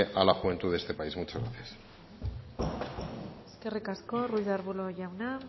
a la juventud de este país muchas gracias eskerrik asko ruiz de arbulo jauna